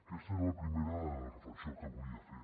aquesta era la primera reflexió que volia fer